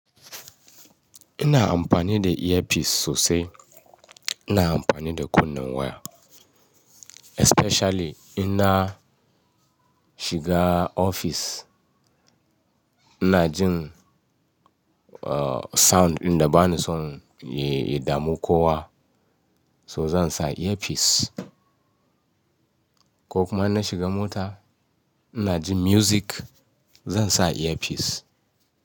Ina amfani da earpiece sosai. Ina amfani da kunne waya especially ina shiga ofis. Ina jin, uh, sound ɗin da bani son ya, ya damu kowa so zan sa earpiece. Ko kuma in na shiga mota ina jin music zan sa earpiece.